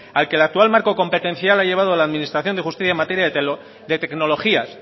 al que el actual marco competencial ha llevado a la administración de justicia en materia de tecnologías